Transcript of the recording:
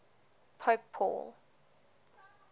pope paul